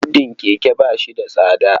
Siddin keke ba shi da tsada.